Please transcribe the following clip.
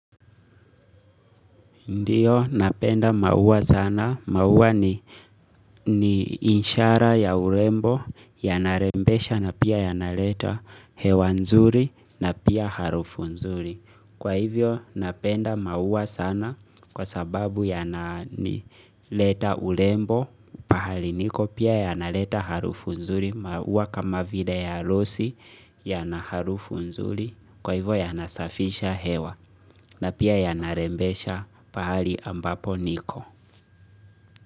Ndiyo, napenda maua sana. Maua ni ishara ya urembo, yana rembesha na pia yana leta hewa nzuri na pia harufu nzuri. Kwa hivyo, napenda maua sana kwa sababu yana leta urembo, pahali niko pia yana leta harufu nzuri, maua kama vile ya rosi yana harufu nzuri kwa hivyo yana safisha hewa na pia yana rembesha pahali ambapo niko.